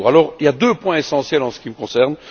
Il y a deux points essentiels en ce qui me concerne.